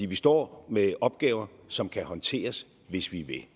vi står med opgaver som kan håndteres hvis vi